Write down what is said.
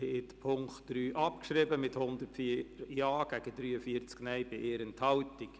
Sie haben den Punkt 3 abgeschrieben mit 104 Ja- gegen 43 Nein-Stimmen bei 1 Enthaltung.